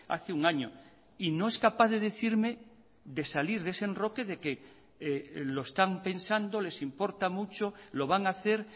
hace un año y no es capaz de decirme de salir de ese enroque de que lo están pensando les importa mucho lo van a hacer